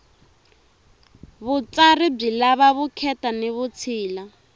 vutsari byi lava vukheta ni vutshila